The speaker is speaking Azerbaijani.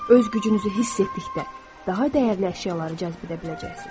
Öz gücünüzü hiss etdikdə, daha dəyərli əşyaları cəzb edə biləcəksiz.